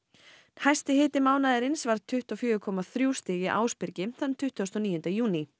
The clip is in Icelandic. hæsti hiti mánaðarins var tuttugu og fjögur komma þrjú stig í Ásbyrgi þann tuttugasta og níunda júní